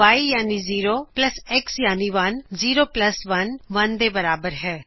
Y ਯਾਨੀ 0 plus x ਯਾਨੀ 1 zero plus 1 1 ਦੇ ਬਰਾਬਰ ਹੈ